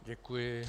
Děkuji.